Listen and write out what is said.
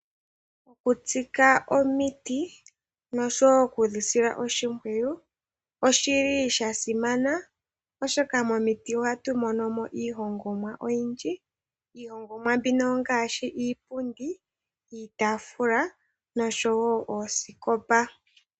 Okutsika omiti noshowo oku dhi sila oshimpwiyu osha simana, oshoka momiti ohatu mono mo iihongomwa oyindji. Iihongomwa mbino ongaashi iipundi, iitaafula noshowo oosikopa.